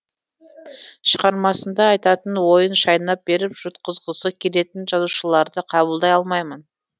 шығармасында айтатын ойын шайнап беріп жұтқызғысы келетін жазушыларды қабылдай алмаймын